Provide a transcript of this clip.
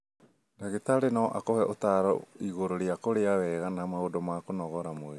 Ndagĩtarĩ no akuhe ũtaaro igũrũ rĩa kũrĩa wega na maũndũ ma kũnogora mwĩrĩ.